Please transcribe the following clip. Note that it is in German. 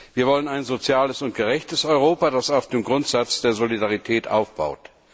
Wir wollen ein soziales und gerechtes Europa, das auf dem Grundsatz der Solidarität aufbaut.